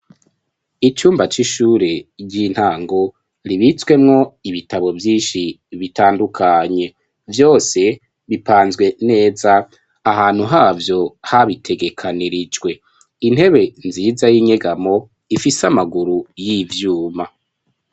Icumba c'ishure ry'intango ribitswemwo ibitabo vyinshi bitandukanye. Vyose bipanzwe neza ahantu havyo habitegekanirijwe ,intebe nziza y'inyegamo ifise amaguru y'ivyuma.